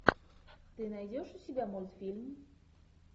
ты найдешь у себя мультфильм